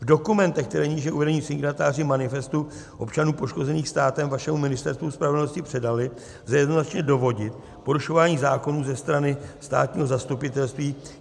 V dokumentech, které níže uvedení signatáři Manifestu občanů poškozených státem vašemu Ministerstvu spravedlnosti předali, lze jednoznačně dovodit porušování zákonů ze strany státního zastupitelství.